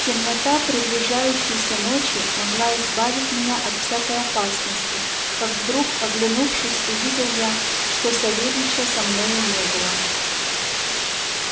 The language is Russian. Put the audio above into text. темнота приближающейся ночи могла избавить меня от всякой опасности как вдруг оглянувшись увидел я что савельича со мною не было